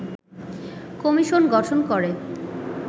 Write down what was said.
commission গঠন করে